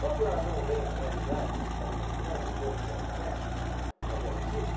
Quando ela não vê a realidade, que você está demonstrando os erros que ela comete, mas ela insiste,